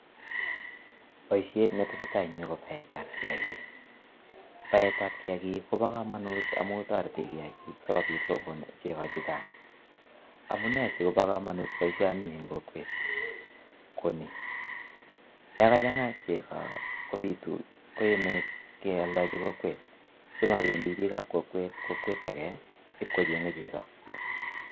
Boisiet neteseta en yu kobaetab kiagik. Baet ab kiagik kobo kamanut amu toretike asikokonu chego che chang. Amune sigobo kamanut boisioni, eng kokwet kuni? Yo kachanga chego kopitu, ko yenget kealdochin kokwet simobendi biikab kokwet, kokwet age ipkochenge chego.